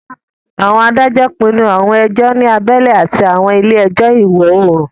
Àwọn adájọ́ pinnu àwọn ẹjọ́ ní abẹ́lé àti àwọn ilé ẹjọ́ ìwọ-oòrùn